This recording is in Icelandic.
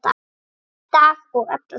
Í dag og alla daga.